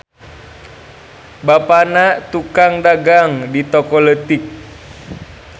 Bapana tukang dagang di toko leutik.